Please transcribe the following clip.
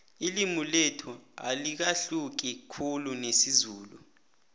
ililmi lethu alahluki khulu nesizulu